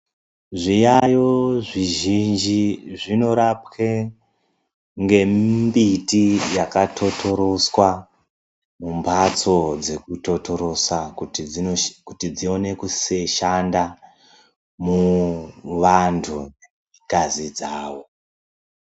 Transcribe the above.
Zviyayo zvizhinji zvinorapwe ngemimbiti yakatotoroswa mumhatso dzekutotorosa kuti dzione kushanda muvantu ngazi dzavo.